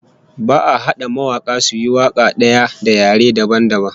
Ba'a hada mawaka suyi waka daya da yare dabam dabam